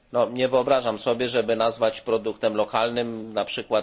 Nie wyobrażam sobie, żeby nazwać produktem lokalnym np.